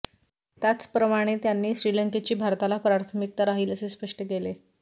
त्याचप्रमाणे त्यांनी श्रीलंकेची भारताला प्राथमिकता राहील असे स्पष्ट केले